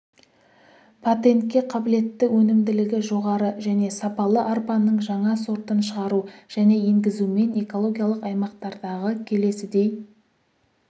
патентке қабілетті өнімділігі жоғары және сапалы арпаның жаңа сортын шығару және енгізумен экологиялық аймақтардағы келесідей